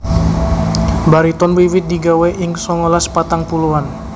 Bariton wiwit digawè ing songolas patang puluhan